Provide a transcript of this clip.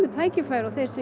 tækfæri og þeir sem